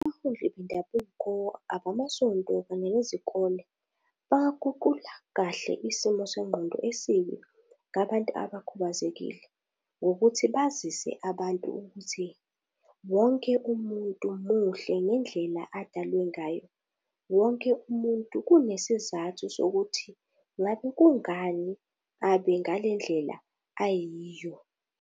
Abaholi bendabuko, abamasonto kunye nezikole bangaguqula kahle isimo sengqondo esibi ngabantu abakhubazekile ngokuthi bazise abantu ukuthi wonke umuntu muhle ngendlela odalwe ngayo, wonke umuntu kunesizathu sokuthi ngabe kungani abe ngalendlela ayiyo.